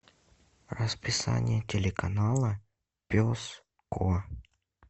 расписание телеканала пес ко